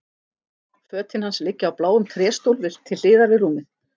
Fötin hans liggja á bláum tréstól til hliðar við rúmið.